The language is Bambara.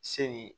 Seli